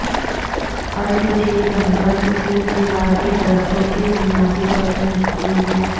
ارد جھیل جنگل صف دیودار کے درختوں کی بنیادی طور پر مشتمل ہے